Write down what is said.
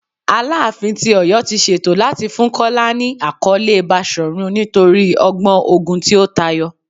Alaafin ti Oyo ti ṣeto lati fun Kola ni akọle Bashorun nitori ọgbọn ogun ti o tayọ